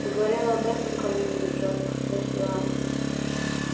ты говорил об этом кому-нибудь жёстко спросила она